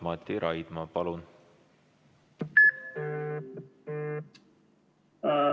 Mati Raidma, palun!